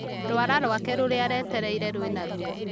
Rũara rwake rũrĩa aretereire rwĩna ruo